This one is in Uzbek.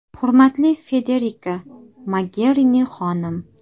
Hurmatli Federika Mogerini xonim!